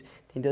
Entendeu?